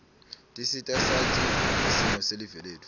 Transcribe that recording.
tisita sati ngesimo selive letfu